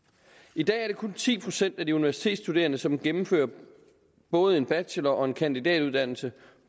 i dag er det kun ti procent af de universitetsstuderende som gennemfører både en bachelor og en kandidatuddannelse